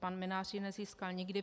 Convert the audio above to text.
Pan Mynář ji nezískal nikdy.